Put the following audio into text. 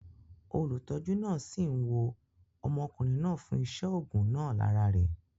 Olùtọ́jú náà sì ń wo ọmọkùnrin náà fún iṣé ògùn náà lára rẹ̀